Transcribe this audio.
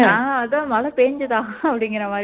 அஹ் அதான் மழை பெய்ஞ்சதா அப்படிங்கற மாரி